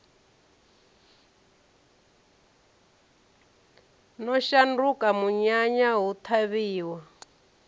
no shanduka munyanya hu ṱhavhiwa